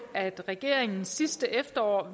at regeringen sidste efterår